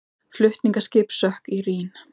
Flutningaskip sökk í Rín